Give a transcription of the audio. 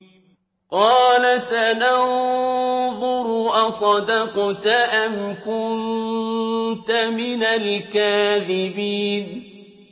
۞ قَالَ سَنَنظُرُ أَصَدَقْتَ أَمْ كُنتَ مِنَ الْكَاذِبِينَ